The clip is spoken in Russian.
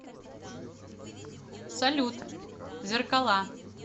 салют зеркала